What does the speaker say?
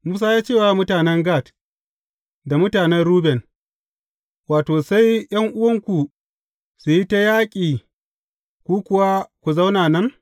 Musa ya ce wa mutanen Gad da mutanen Ruben, Wato, sai ’yan’uwanku su yi ta yaƙi ku kuwa ku zauna nan?